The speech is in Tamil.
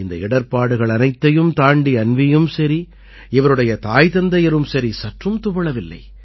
இந்த இடர்ப்பாடுகள் அனைத்தையும் தாண்டி அன்வீயும் சரி இவருடைய தாய் தந்தையரும் சரி சற்றும் துவளவில்லை